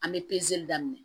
An bɛ pezeli daminɛ